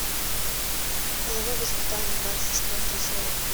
половое воспитание двадцать четвертая серия